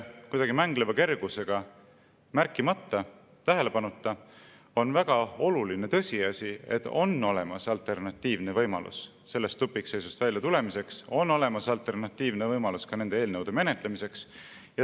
Kuidagi mängleva kergusega jäetakse märkimata ja tähelepanuta väga oluline tõsiasi, et on olemas alternatiivne võimalus sellest tupikseisust väljatulemiseks, on olemas alternatiivne võimalus ka nende eelnõude menetlemiseks.